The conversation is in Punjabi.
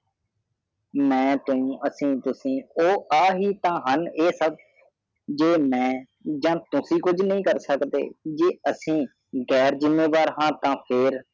ਮੈ ਤੈਨੂੰ ਅਸੀਂ ਤੁਸੀ ਓਹ ਆਹ ਹੀ ਤਾਏ ਹਨ ਏ ਸਬ ਜੇ ਮੈ ਜਾ ਤੁਸੀ ਕੁਛ ਨਹੀਂ ਕਰ ਸਕਦੇ ਜੇ ਅਸੀਂ ਗਾਇਅਰ ਜ਼ਿਮਾਦਾਰ ਹਾ ਤਾ ਫਰ